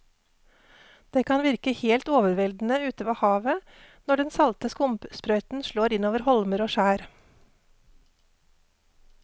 Det kan virke helt overveldende ute ved havet når den salte skumsprøyten slår innover holmer og skjær.